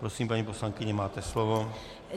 Prosím, paní poslankyně, máte slovo.